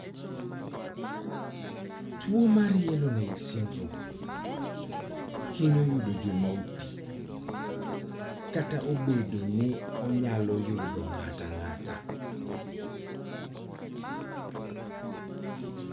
Tuwo mar yellow nail syndrome, hinyo yudo joma oti, kata obedo ni onyalo yudo ng'ato ang'ata.